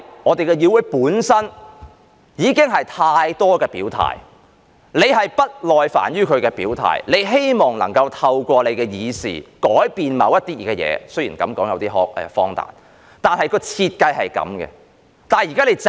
我們的議會本身已經有太多表態，你是不耐煩於大家的表態，你希望能夠透過修訂而改變某些事——雖然這樣說有點荒誕——但設計便是這樣子。